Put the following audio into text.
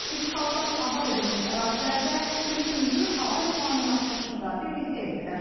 İşğaldan azad edilmiş ərazilərdə üçüncü hava limanının açılışını da birlikdə etdilər.